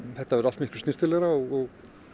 þetta verður allt miklu snyrtilegra og